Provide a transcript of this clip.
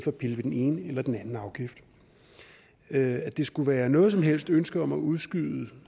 at pille ved den ene eller den anden afgift at det skulle være noget som helst ønske om at udskyde